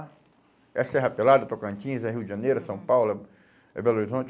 É Serra Pelada, Tocantins, é Rio de Janeiro, é São Paulo, é é Belo Horizonte.